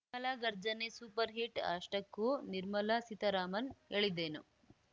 ನಿರ್ಮಲಾ ಗರ್ಜನೆ ಸೂಪರ್‌ಹಿಟ್‌ ಅಷ್ಟಕ್ಕೂ ನಿರ್ಮಲಾ ಸೀತಾರಾಮನ್‌ ಹೇಳಿದ್ದೇನು